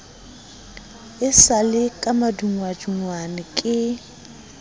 sa le ka madungwadungwa ke